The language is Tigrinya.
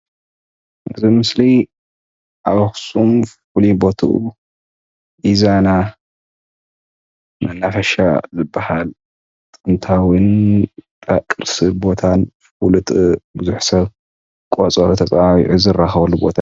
እዚ ኣብዚ ምስሊ ኣብ ኣክሱም ፍሉይ ቦቱኡ ኢዛና መናፈሻ ዝባሃል ጥንታዊ ኣብ ቅርሲ ቦታን ፍሉጥ ቡዙሕ ሰብ ቆፀሮ ተፀዋዊዑ ዝራከበሉ ቦታ ፡፡